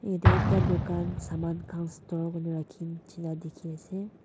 yadae ekta dukan saman khan store dae raki nishi na diki asae.